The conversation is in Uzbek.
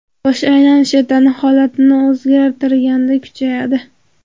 Bosh aylanishi tana holatini o‘zgartirganda kuchayadi.